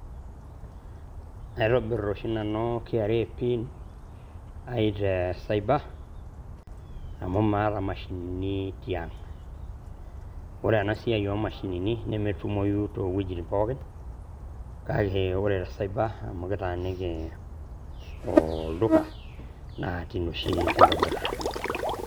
atobir oshi nanu KRA ai te cyber amu maata mashinini tiang', ore ena siai oomashinini nemetumoi too wejitin pooki kake ore te cyber amu kitaaniki olduka naa tine oshi kitaaniki.